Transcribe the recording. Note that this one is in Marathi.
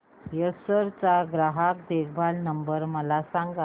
एसर चा ग्राहक देखभाल नंबर मला सांगा